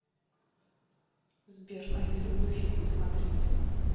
сбер а я люблю фильмы смотреть